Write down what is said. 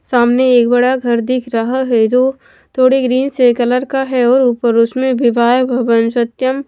सामने एक बड़ा घर दिख रहा है जो थोड़े ग्रीन से कलर का है और ऊपर उसमें विवाह भवन सत्यम--